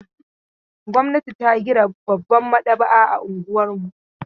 Gwamnati ta gina babbar maɗaba'a a unguwar mu.